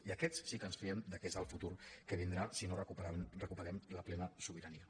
i aquests sí que ens fiem que és el futur que vindrà si no recuperem la plena sobirania